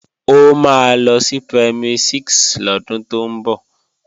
Ó máa lọ sí Primary 6 lọ́dún tó ń bọ̀